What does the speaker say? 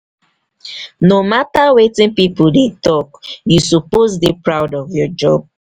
no matter wetin pipo dey talk you suppose dey proud of your job.